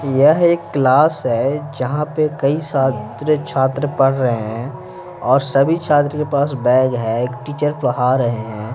यह एक क्लास है जहां पर कई सात्र छात्र पढ़ रहे हैंऔर सभी छात्र के पास बैग है एक टीचर पढ़ा रहे हैं।